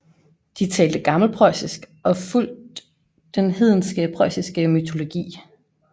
De talte gammelpreussisk og fulgt den hedenske preussiske mytologi